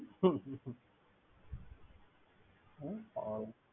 ।